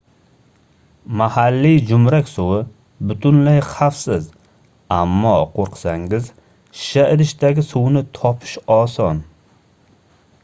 mahalliy joʻmrak suvi butunlay xavfsiz ammo qoʻrqsangiz shisha idishdagi suvni topish oson